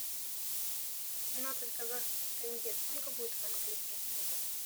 семнадцать казахских тенге сколько будет в английских фунтах